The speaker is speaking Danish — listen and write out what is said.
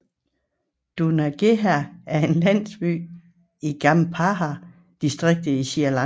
Dunagaha er en landsby i Gampaha District i Sri Lanka